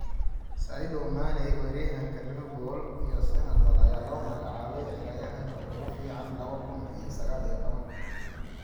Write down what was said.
Sadio Mane: Weeraryahanka Liverpool iyo Senegal ayaa loo magacaabay ciyaaryahanka ugu fiican laba kuun iyo sagaal iyo tobaan